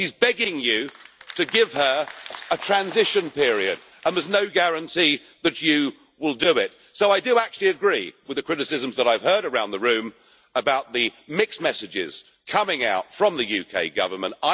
She is begging you to give her a transition period and there is no guarantee that you will do it, so I do actually agree with the criticisms that I have heard around the room about the mixed messages coming out from the UK government.